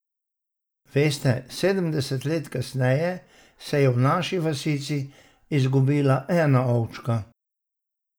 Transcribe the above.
Veste, sedemdeset let kasneje se je v naši vasici izgubila ena ovčka.